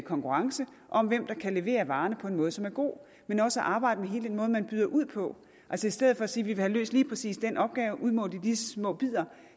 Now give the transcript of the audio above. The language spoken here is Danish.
konkurrence om hvem der kan levere varerne på en måde som er god men også at arbejde med hele den måde man byder ud på altså i stedet for at sige vil have løst lige præcis den opgave udmålt i de små bidder